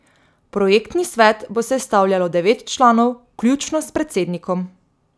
Projektni svet bo sestavljalo devet članov, vključno s predsednikom.